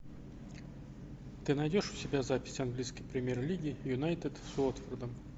ты найдешь у себя запись английской премьер лиги юнайтед с уотфордом